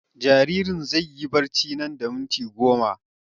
Jaririn zai yi barci nan da minti goma